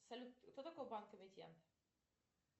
салют кто такой банк эмитент